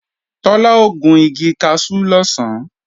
Tọ́lá ó gun igi kaṣú lọ̀sán